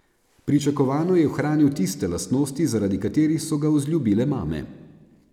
Pričakovano je ohranil tiste lastnosti, zaradi katerih so ga vzljubile mame.